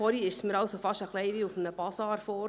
Vorhin kam es mir fast ein wenig wie auf einem Basar vor.